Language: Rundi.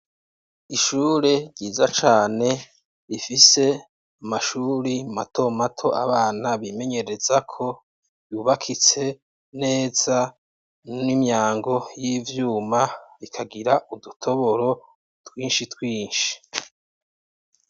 Ishure ryiza cane ifise amashuri mato mato abana bimenyerezako, yubakitse neza n'imyango y'ivyuma ikagira udutoboro twinshi twinshi.